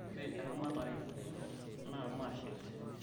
ore eramatare ino naa mashet